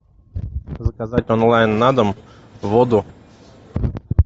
заказать онлайн на дом воду